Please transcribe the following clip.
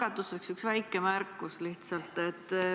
Alustuseks üks väike märkus lihtsalt.